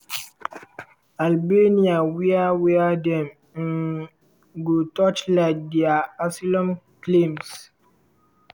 albania wia wia dem um go torchlight dia asylum claims.